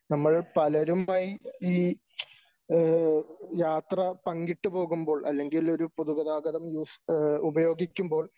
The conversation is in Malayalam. നമ്മൾ പലരുമായി ഈ യാത്ര പങ്കിട്ട് പോകുമ്പോൾ അല്ലെങ്കിൽ ഒരു പൊതുഗതാഗതം യൂസ് ഉപയോഗിക്കുമ്പോൾ